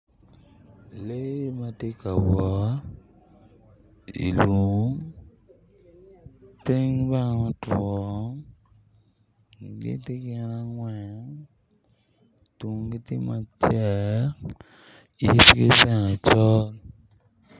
Lee ma tye ka wot i lum piny bene otwo gitye gin angwen tungi tye macek yitgi bene col.